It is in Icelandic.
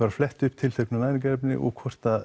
flett upp tilteknu næringarefni og hvort